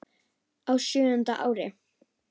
Á sjöunda ári